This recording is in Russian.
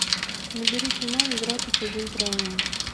набери кино игра по чужим правилам